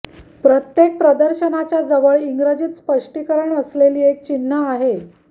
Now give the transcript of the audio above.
प्रत्येक प्रदर्शनाच्या जवळ इंग्रजीत स्पष्टीकरण असलेली एक चिन्ह आहे